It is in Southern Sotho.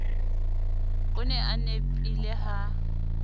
o ne a nepile ha